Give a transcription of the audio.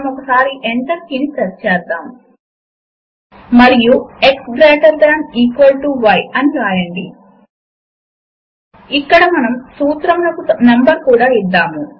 LibreOffice suite ను మీరు install చేసి ఉండకపోతే మీరు దానిని అధికారిక వెబ్ సైట్ నుంచి డౌన్ లోడ్ చేసుకోవచ్చు